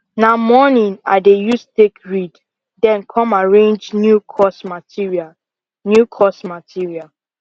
na morning i dey use take read then come arrange new course material new course material